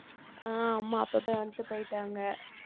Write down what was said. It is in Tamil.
ஆஹ் அம்மா அப்பவே வந்துட்டு போயிட்டாங்க